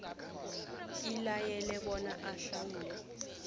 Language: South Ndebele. ilayele bona ahlawule